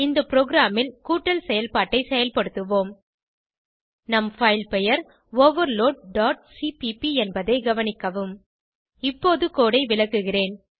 இந்த ப்ரோகிராமில் கூடடல் செயல்பாட்டை செயல்படுத்துவோம் நம் பைல் பெயர் overloadசிபிபி என்பதை கவனிக்கவும் இப்போது கோடு ஐ விளக்குகிறேன்